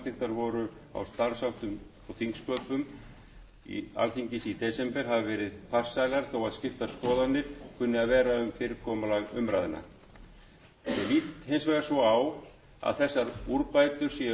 og þingsköpum á alþingi í desember hafi verið farsælar þó skiptar skoðanir kunni að vera um fyrirkomulag umræðna ég lít hins vegar svo á að þessar úrbætur séu aðeins fyrsti